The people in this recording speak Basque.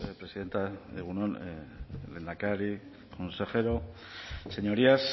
presidenta egun on lehendakari consejero señorías